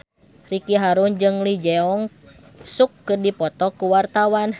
Ricky Harun jeung Lee Jeong Suk keur dipoto ku wartawan